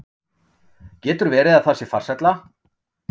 Getur verið að það sé farsælla?